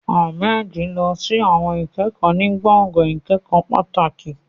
Ahmed lọ sí àwọn ìkẹ́kọ̀ọ́ ní gbọ̀ngàn ìkẹ́kọ̀ọ́ pàtàkì.